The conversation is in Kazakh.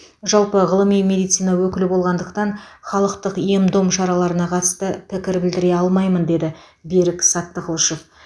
жалпы ғылыми медицина өкілі болғандықтан халықтық ем дом шараларына қатысты пікір білдіре алмаймын деді берік саттықлышев